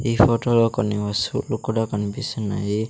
ఈ ఫొటో లో కొన్ని వస్తువులు కూడా కన్పిస్తున్నాయి.